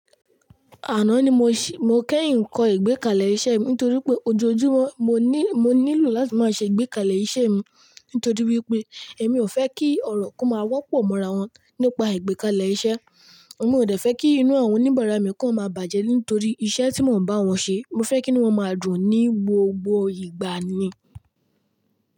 Àná ni mo ṣì, mo kẹ́yìn ń kọ ìgbekalẹ̀ iṣẹ́ mi nítorí pé ojoojúmọ́ mo ní, mo nílò láti máa ṣe ìgbekalẹ̀ iṣẹ́ mi. Nítorí wípé èmi ò fẹ́ kí ọ̀rọ̀ kó máa wọ́pọ̀ mọ́ra wọn nípa ìgbekalẹ̀ iṣẹ́. Èmi ò dẹ́fẹ́ kí inú àwọn oníbàárà mi kó máa bàjẹ́ nítorí iṣẹ́ tí mò ń bá wọn ṣe. Mo fẹ́ kí nu wọ́n máa dùn ní gbogbo ìgbà ni.